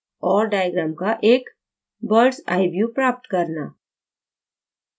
और diagram का एक बर्ड्स a view प्राप्त करना